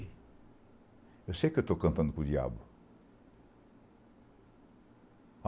Eu sei que eu estou cantando com o diabo.